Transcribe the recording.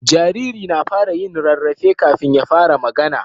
Jariri na fara yin rarrafe kafin ya fara magAna